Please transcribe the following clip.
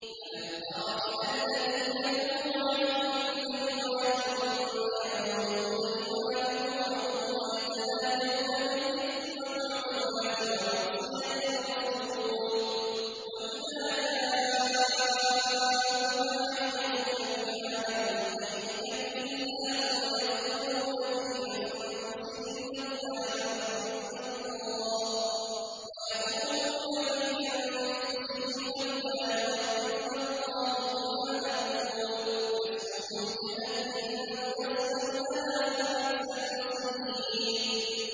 أَلَمْ تَرَ إِلَى الَّذِينَ نُهُوا عَنِ النَّجْوَىٰ ثُمَّ يَعُودُونَ لِمَا نُهُوا عَنْهُ وَيَتَنَاجَوْنَ بِالْإِثْمِ وَالْعُدْوَانِ وَمَعْصِيَتِ الرَّسُولِ وَإِذَا جَاءُوكَ حَيَّوْكَ بِمَا لَمْ يُحَيِّكَ بِهِ اللَّهُ وَيَقُولُونَ فِي أَنفُسِهِمْ لَوْلَا يُعَذِّبُنَا اللَّهُ بِمَا نَقُولُ ۚ حَسْبُهُمْ جَهَنَّمُ يَصْلَوْنَهَا ۖ فَبِئْسَ الْمَصِيرُ